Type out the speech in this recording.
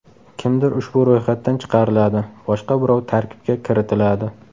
Kimdir ushbu ro‘yxatdan chiqariladi, boshqa birov tarkibga kiritiladi.